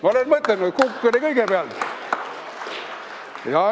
Ma olen ka mõtelnud, et kukk oli kõigepealt.